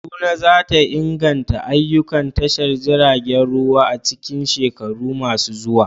Kaduna za ta inganta ayyukan tashar jiragen ruwa a cikin shekaru masu zuwa.